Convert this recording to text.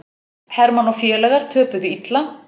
Hermann og félagar töpuðu illa